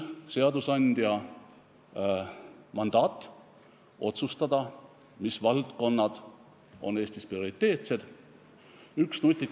See mandaat otsustada, mis valdkonnad on Eestis prioriteetsed, on küll seadusandjal.